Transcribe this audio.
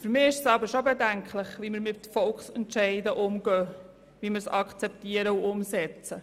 Für mich ist es aber schon bedenklich, wie wir mit Volksentscheiden umgehen, wie wir sie akzeptieren und umsetzen.